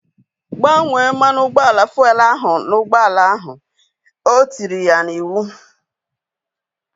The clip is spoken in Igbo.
Gbanye mmanụ ụgbọala fuelu ahu n'ụgbọala ahu! O tiri ya n'iwu